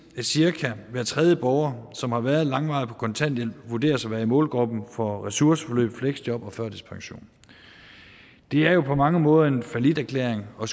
at cirka hver tredje borger som har været langvarigt på kontanthjælp vurderes at være i målgruppen for ressourceforløb fleksjob og førtidspension det er jo på mange måder en falliterklæring og